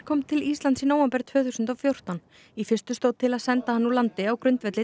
kom til Íslands í nóvember tvö þúsund og fjórtán í fyrstu stóð til að senda hann úr landi á grundvelli